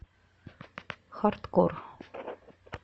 хардкор